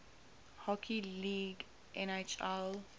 hockey league nhl